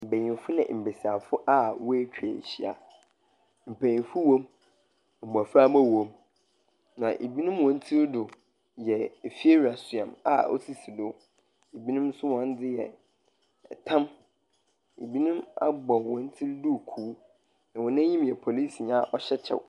Mbenyinfo ne mbesiafo a woatwa ahyia. Mpanyinfo wom. Mmoframa wom. Na ebinom wɔn tiri do yɛ efiewura soa me a osisi do. Ebinom nso wɔn de yɛ ɛtam. Ebinom abɔ wɔn ti duku. Na wɔn anim yɛ polisini a ɔhyɛ kyɛw.